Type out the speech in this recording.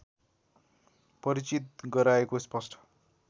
परिचित गराएको स्पष्ट